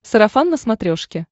сарафан на смотрешке